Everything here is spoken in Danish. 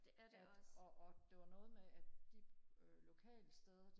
at og og det var noget med at de lokalsteder